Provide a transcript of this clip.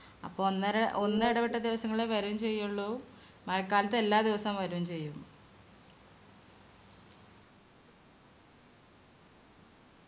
അപ്പൊ ഒന്നര ഒന്നെടവിട്ട ദിവസങ്ങളിലെ വരും ചെയ്യുള്ളു. മഴക്കാലത്ത് എല്ലാ ദിവസം വരും ചെയ്യും